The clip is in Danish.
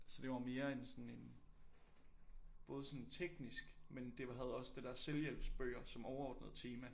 Så det var mere en sådan en både sådan teknisk men det var havde også det der selvhjælpsbøger som overordnet tema